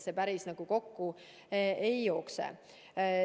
See päris kokku ei jookse.